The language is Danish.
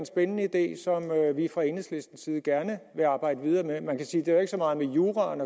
spændende idé som vi fra enhedslistens side gerne vil arbejde videre med man kan sige det har så meget med juraen